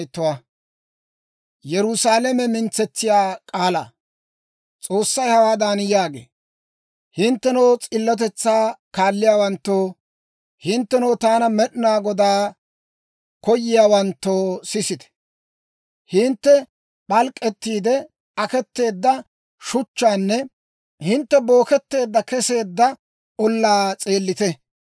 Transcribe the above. S'oossay hawaadan yaagee; «Hinttenoo s'illotetsaa kaalliyaawanttoo, hinttenoo taana, Med'inaa Godaa koyiyaawanttoo, sisite. Hintte p'alk'k'ettiide aketeedda shuchchaanne hintte booketteedda keseedda ollaa s'eellite.